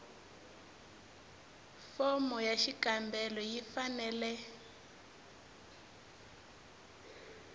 fomo ya xikombelo yi fanele